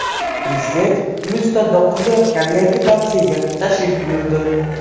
Prezident Gulistonda qurilayotgan yangi mavzega tashrif buyurdi.